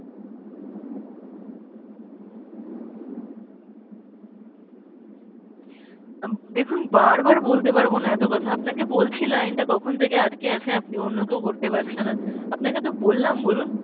দেখুন বারবার বলতে পারব না এত কথা আপনাকে বলছি line টা কখন থেকে আটকে আছে আপনি অন্য কেউ করতে পারছে না আপনাকে তো বললাম বলুন !